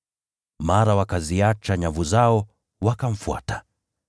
Mara wakaziacha nyavu zao, wakamfuata.